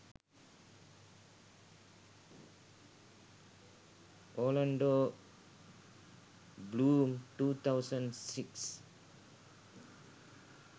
orlando bloom 2006